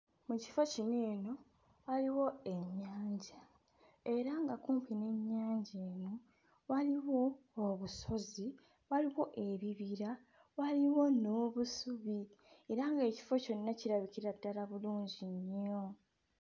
Ekifo kino eno waliwo ennyanja era nga kumpi n'ennyanja eno waliwo obusozi waliwo ebibira waliwo n'obusubi era ng'ekifo kyonna kirabikira ddala bulungi nnyo.